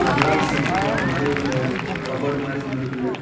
கண்ணாடி செட்டு போட்ட மாறி ஒரு கப்போர்ட் மாறி ஒன்னு இருக்குது.